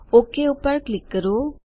okay પર click કરો